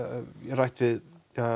rætt við